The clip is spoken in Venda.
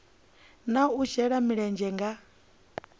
na u shela mulenzhe nga